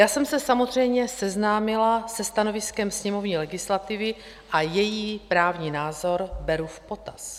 Já jsem se samozřejmě seznámila se stanoviskem sněmovní legislativy a její právní názor beru v potaz.